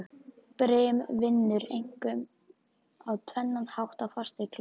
Brim vinnur einkum á tvennan hátt á fastri klöpp.